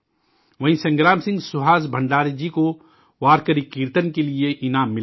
وہیں، سنگرام سنگھ سہاس بھنڈارے جی کو وارکری کیرتن کے لیے یہ انعام ملا ہے